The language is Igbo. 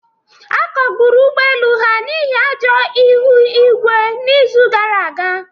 A kagburu ụgbọ elu ha n'ihi ajọ ihu igwe n'izu gara aga